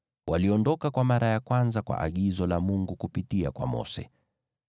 Waliondoka kwa mara ya kwanza kwa agizo la Bwana kupitia kwa Mose.